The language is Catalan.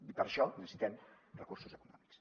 i per això necessitem recursos econòmics